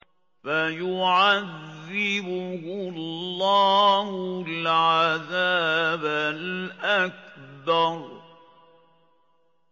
فَيُعَذِّبُهُ اللَّهُ الْعَذَابَ الْأَكْبَرَ